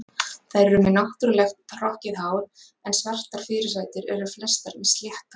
Þær eru með náttúrulegt hrokkið hár, en svartar fyrirsætur eru flestar með slétt hár.